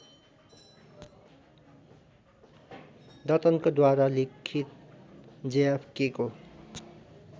दत्तनकोद्वारा लिखित जेएफकेको